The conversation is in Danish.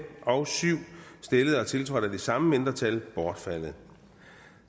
og syv stillet og tiltrådt af de samme mindretal bortfaldet